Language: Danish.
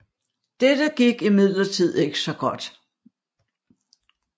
Dette gik imidlertid ikke så godt